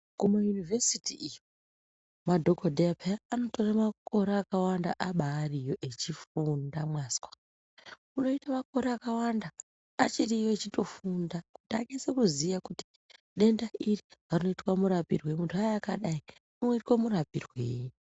Kumayunivhesiti iyo madhokodheya paya anotore makore akawanda abariyo echifunda mwazwa unoite makore akawanda achiriyoachifunda kuti anyase kuziya denda iri rinoitwa murapirwei muntu wauya akadai unoite murapirwei.